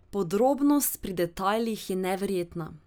Podrobnost pri detajlih je neverjetna.